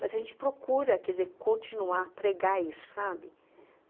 Mas a gente procura, quer dizer, continuar, pregar isso, sabe.